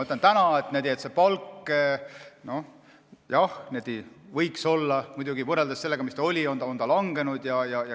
Täna on palk, jah, muidugi võrreldes sellega, mis ta oli, langenud.